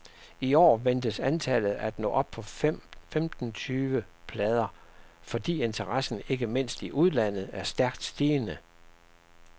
I år ventes antallet at nå op på femten tyve plader, fordi interessen ikke mindst i udlandet er stærkt stigende.